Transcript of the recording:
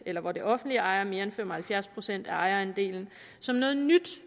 eller hvor det offentlige ejer mere end fem og halvfjerds procent af ejerandelen som noget nyt